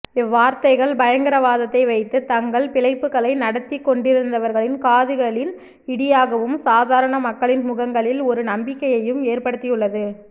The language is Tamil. இவ்வார்த்தைகள் பயங்கரவாதத்தை வைத்து தங்கள் பிழைப்புக்களை நடத்திக் கொண்டிருந்தவர்களின் காதுகளில் இடியாகவும் சாதாரண மக்களின் முகங்களில் ஒரு நம்பிக்கையையும் ஏற்படுத்தியுள்ளது